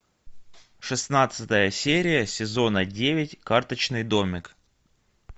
шестнадцатая серия сезона девять карточный домик